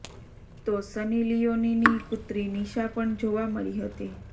તો સની લીયોનીની પુત્રી નિશા પણ જોવા મળી હતી